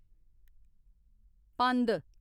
पंद